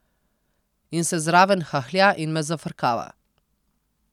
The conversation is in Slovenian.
In se zraven hahlja in me zafrkava.